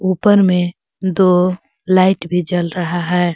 ऊपर में दो लाइट भी जल रहा है।